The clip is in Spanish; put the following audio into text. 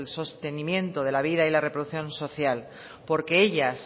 sostenimiento de la vida y de la reproducción social porque ellas